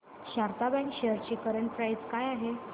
Sharda bank shares ची current price काय आहे